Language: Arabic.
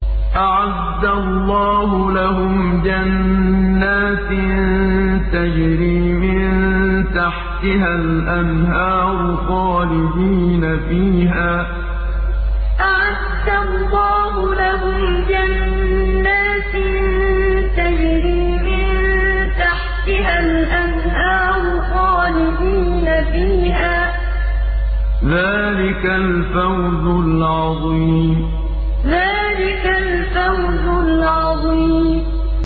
أَعَدَّ اللَّهُ لَهُمْ جَنَّاتٍ تَجْرِي مِن تَحْتِهَا الْأَنْهَارُ خَالِدِينَ فِيهَا ۚ ذَٰلِكَ الْفَوْزُ الْعَظِيمُ أَعَدَّ اللَّهُ لَهُمْ جَنَّاتٍ تَجْرِي مِن تَحْتِهَا الْأَنْهَارُ خَالِدِينَ فِيهَا ۚ ذَٰلِكَ الْفَوْزُ الْعَظِيمُ